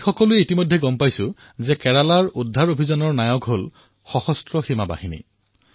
আমি সকলোৱে জানো যে সশস্ত্ৰ বাহিনীৰ সেনাসকলে কেৰালাত জীৱন ৰক্ষকৰ ভূমিকা গ্ৰহণ কৰিছে